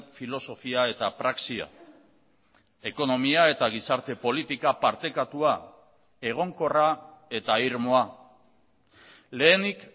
filosofia eta praxia ekonomia eta gizarte politika partekatua egonkorra eta irmoa lehenik